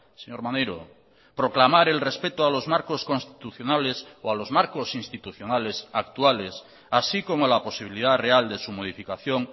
señor maneiro proclamar el respeto a los marcos constitucionales o a los marcos institucionales actuales así como la posibilidad real de su modificación